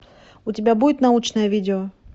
у тебя будет научное видео